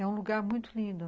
É um lugar muito lindo.